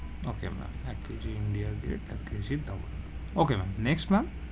Okay ma'am, এক KG India Gate, এক KG Daawat okay ma'am next ma'am,